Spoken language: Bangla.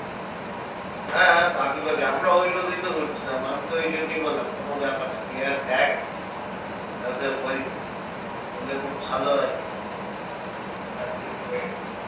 হ্যাঁ পাখি ফাকি আমরা ওই ভাবেই তো হচ্ছিলাম আমি তো ওই জন্যই বললাম কোনো ব্যাপার না তুই আর দেখ না করলে খুব ভালো আছে